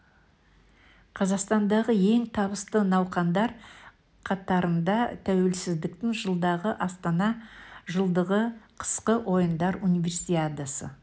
қазақстандағы ең табысты науқандар қатырнда тәуелсіздіктің жылдығы астана жылдығы қысқы ойындар универсиадасы